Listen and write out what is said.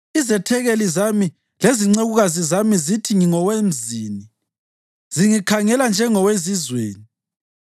Izethekeli zami lezincekukazi zami zithi ngingowemzini; zingikhangela njengowezizweni.